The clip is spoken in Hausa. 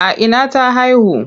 A ina ta haihu?